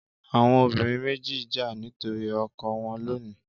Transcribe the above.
Àwọn obìnrin méjì ń jà nítorí ọkọ wọn lónìí.